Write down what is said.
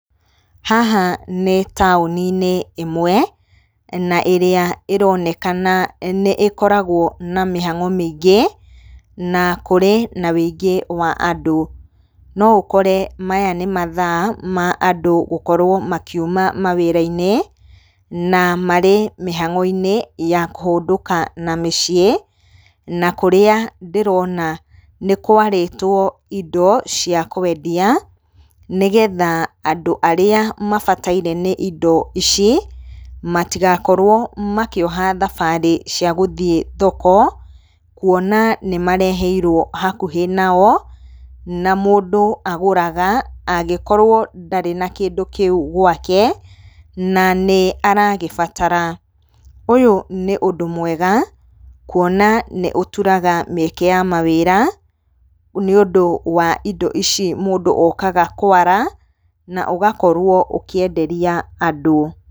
Haha nĩ taũni-inĩ ĩmwe, na ĩrĩa ĩronekana nĩ ĩkoragwo na mĩhango mĩingĩ, na kũrĩ na ũingĩ wa andũ. No ũkore maya nĩ mathaa ma andũ gũkorwo makiuma mawĩra-inĩ na marĩ mĩhango-inĩ ya kũndũka na mĩciĩ. Na kũrĩa ndĩrona nĩ kwarĩtwo indo cia kwendia, nĩgetha andũ arĩa mabataire nĩ indo ici matigakorwo makĩoha thabari cia gũthiĩ thoko, kuona nĩ mareheirwo hakuhĩ nao. Na mũndũ agũraga angĩkorwo ndarĩ na kĩndũ kĩu gwake, na nĩ aragĩbatara. Ũyũ nĩ ũndũ mwega, kuona nĩ ũturaga mĩeke ya mawĩra, nĩ ũndũ wa indo ici mũndũ okaga kwara, na ũgakorwo ũkĩenderia andũ.